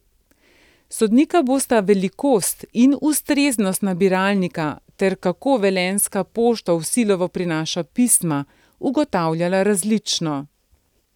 Sodnika bosta velikost in ustreznost nabiralnika ter kako velenjska pošta v Silovo prinaša pisma, ugotavljala različno.